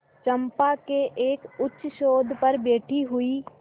चंपा के एक उच्चसौध पर बैठी हुई